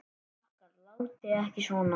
Krakkar látiði ekki svona!